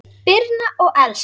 Birna og Elsa.